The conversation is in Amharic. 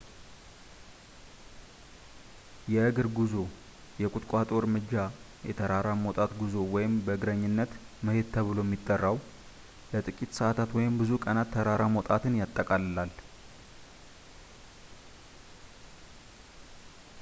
የእግር ጉዞ የቁጥቋጦ እርምጃ”፣ የተራራ መውጣት ጉዞ” ወይም በእግረኝነት” መሄድ ተብሎ ሚጠራው ለጥቂት ሰአታት ወይም ብዙ ቀናት ተራራ መውጣትን ይጠቃልላል